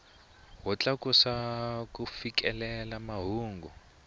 wo tlakusa ku fikelela mahungu